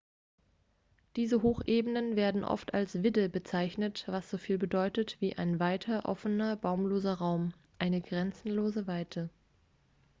diese hochebenen werden oft als vidde bezeichnet was soviel bedeutet wie ein weiter offener baumloser raum eine grenzenlose weite